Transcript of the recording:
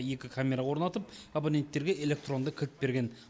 екі камера орнатып абоненттерге электронды кілт берген